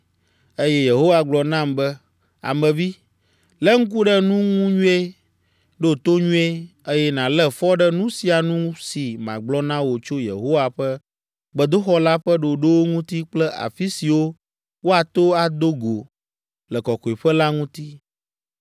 Eye Yehowa gblɔ nam be, “Ame vi, lé ŋku ɖe nu ŋu nyuie, ɖo to nyuie, eye nàlé fɔ ɖe nu sia nu si magblɔ na wò tso Yehowa ƒe gbedoxɔ la ƒe ɖoɖowo ŋuti kple afi siwo woato ado go le Kɔkɔeƒe la ŋuti.